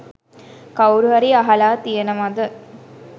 කවුරු හරි අහලා තියෙනවාද